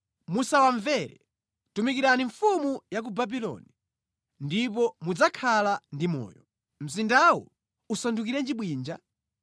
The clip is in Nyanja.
Musawamvere. Tumikirani mfumu ya ku Babuloni, ndipo mudzakhala ndi moyo. Mzindawu usandukirenji bwinja?